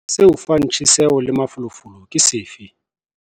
Se o fang tjheseho le mafolofolo ke sefe?